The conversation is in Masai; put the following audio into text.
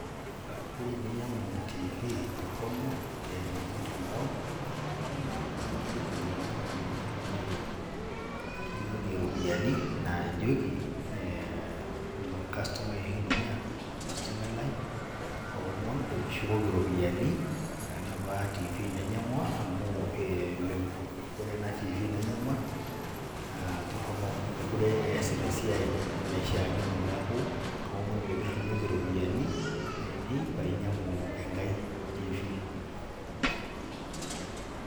Ore tininyng'u tiifi torrono te mutandao teniyu niliki olainyang'ani lino peyiee kirrinyoki iropiani naa ijoki eeh kastomai oshi lintumia, kastomai lai aomon peekishukoki iropiani enapa tiifi nainyang'ua amu ee ore ena tiifi nainyang'ua naa torrono mekure easita esiai naishiakino neaku kaomon pee kirrinyoki iropiani ainei paainyang'u engai tiifi.